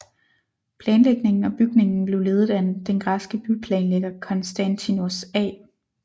Planlægningen og bygningen blev ledet af den græske byplanlægger Constantinos A